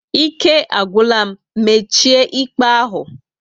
Ike agwụla m, mechie íkpè ahụ!